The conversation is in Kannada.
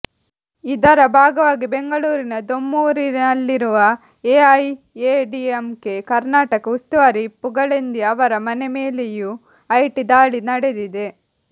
ಇದರ ಭಾಗವಾಗಿ ಬೆಂಗಳೂರಿನ ದೊಮ್ಲೂರಿನಲ್ಲಿರುವ ಎಐಎಡಿಎಂಕೆ ಕರ್ನಾಟಕ ಉಸ್ತುವಾರಿ ಪುಗಳೆಂದಿ ಅವರ ಮನೆ ಮೇಲೆಯೂ ಐಟಿ ದಾಳಿ ನಡೆದಿದೆ